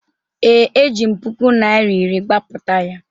ee, ejiri m puku naira iri gbapụta ya